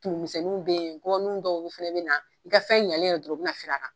Tumumisɛnninw be yen , gɔbɔni dɔw fɛnɛ be na i ka fɛn ɲɛlen dɔrɔn u be na firi a kan.